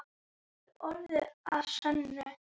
Það er orð að sönnu.